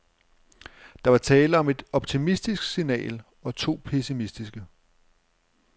Der var tale om et optimistisk signal og to pessimistiske.